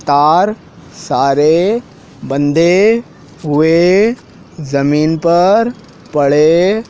तार सारे बंधे हुए जमीन पर पड़े--